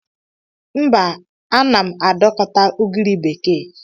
Mba, ana m adọkọta ugiri bekee.